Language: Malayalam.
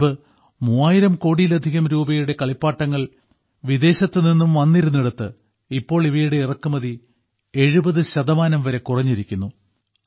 മുൻപ് 3000 കോടിയിലധികം രൂപയുടെ കളിപ്പാട്ടങ്ങൾ വിദേശത്തുനിന്നും വന്നിരുന്നിടത്ത് ഇപ്പോൾ ഇവയുടെ ഇറക്കുമതി 70 ശതമാനം വരെ കുറഞ്ഞിരിക്കുന്നു